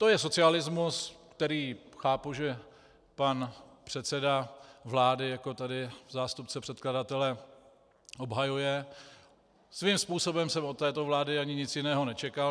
To je socialismus, který chápu, že pan předseda vlády jako tady zástupce předkladatele obhajuje, svým způsobem jsem od této vlády ani nic jiného nečekal.